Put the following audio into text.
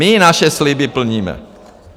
My naše sliby plníme.